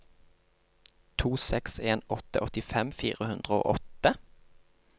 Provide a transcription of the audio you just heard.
to seks en åtte åttifem fire hundre og åtte